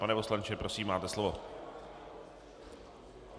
Pane poslanče, prosím, máte slovo.